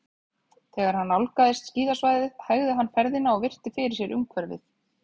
Þegar hann nálgaðist skíðasvæðið hægði hann ferðina og virti fyrir sér umhverfið.